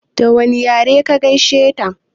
Da wane yare ka gaishe ta?